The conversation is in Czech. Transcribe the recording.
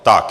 Tak.